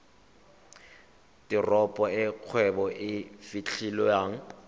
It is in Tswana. teropo e kgwebo e fitlhelwang